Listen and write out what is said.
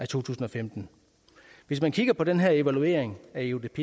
tusind og femten hvis man kigger på den her evaluering af eudp